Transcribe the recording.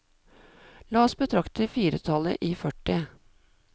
La oss betrakte firetallet i førti.